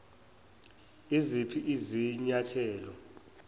iziphi izinya thelo